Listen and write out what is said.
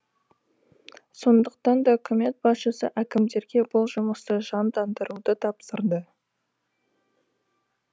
сондықтан да үкімет басшысы әкімдерге бұл жұмысты жандандыруды тапсырды